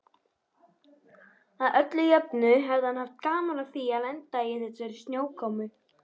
Að öllu jöfnu hefði hann haft gaman af því að lenda í þessari snjókomu.